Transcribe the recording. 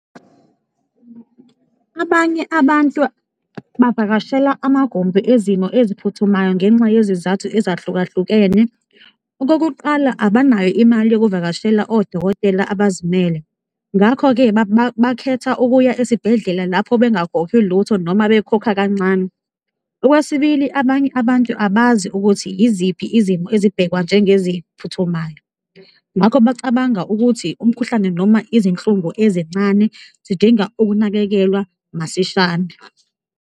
Abanye abantu bavakashela amagumbi ezimo eziphuthumayo ngenxa yezizathu ezahlukahlukene, okokuqala abanayo imali yokuvakashela odokotela abazimele ngakho-ke, bakhetha ukuya esibhedlela lapho bengakhokhi lutho noma bekhokha kancane. Okwesibili, abanye abantu abazi ukuthi yiziphi izimo ezibhekwa njengeziphuthumayo ngakho bacabanga ukuthi umkhuhlane noma izinhlungu ezincane zidinga ukunakekelwa masishane.